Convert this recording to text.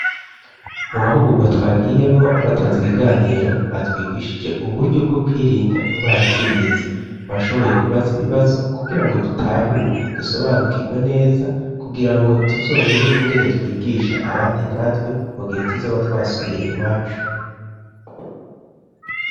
Mu mahugurwa twagiyemwo abatanze ikiganiro batwigishije uburyo bwo kwirinda ingwara z'ibiza twashoboye kubaza ibibazo kugira ngo dutahure dusobanukirwe neza kugira ngo tuzomenye ingene twigisha abandi natwe mu gihe tuzoba twasubiye iwacu.